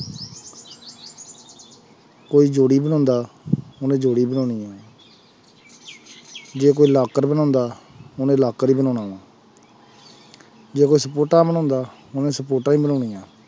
ਕੋਈ ਜੋੜੀ ਬਣਾਉਂਦਾ ਉਹਨੇ ਜੋੜੀ ਬਣਾਉਣੀ ਹੈ ਜੇ ਕੋਈ ਲਾਕਰ ਬਣਾਉਂਦਾ ਉਹਨੇ ਲਾਕਰ ਹੀ ਬਣਾਉਣਾ ਵਾਂ ਜੇ ਕੋਈ ਬਣਾਉਂਦਾ ਉਹਨੇ ਹੀ ਬਣਾਉਣੀਆਂ।